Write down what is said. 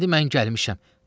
İndi mən gəlmişəm.